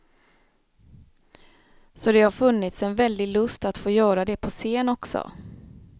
Så det har funnits en väldig lust att få göra det på scen också.